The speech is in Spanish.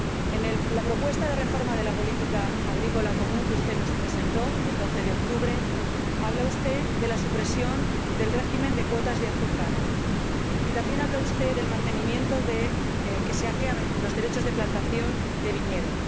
En la propuesta de reforma de la Política Agrícola Común que usted nos presentó el 12 de octubre, habla usted de la supresión del régimen de cuotas de azúcar, y también habla usted de que se acaben los derechos de plantación de viñedos.